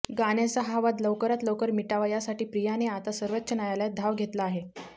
गाण्याचा हा वाद लवकरात लवकर मिटावा यासाठी प्रियाने आता सर्वोच्च न्यायालयात धाव घेतला आहे